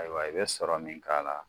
Ayiwa i bɛ sɔrɔ min k'a la